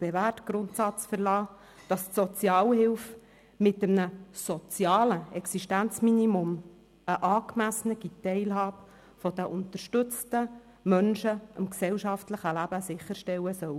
bewährte Grundsatz verlassen, wonach die Sozialhilfe mit einem sozialen Existenzminimum eine angemessene Teilhabe der unterstützten Menschen am gesellschaftlichen Leben sicherstellen soll.